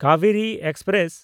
Kaveri express